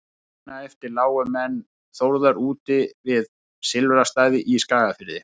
nóttina eftir lágu menn þórðar úti við silfrastaði í skagafirði